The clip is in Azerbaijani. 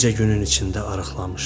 bircə günün içində arıqlamışdı.